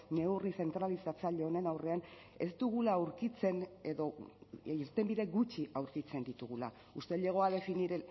neurri zentralizatzaile honen aurrean ez dugula aurkitzen edo irtenbide gutxi aurkitzen ditugula usted llegó a definir